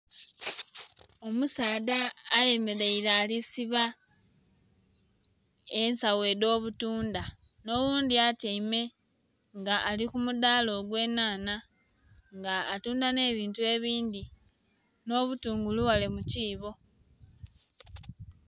Omusaadha ayemeleire ali siba ensawo edh'obutunda n'oghundhi atyaime nga ali ku mudaala ogw'enhaanha nga atunda n'ebintu ebindhi n'obutungulu ghale mu kiibo